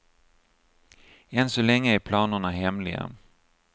Än så länge är planerna hemliga.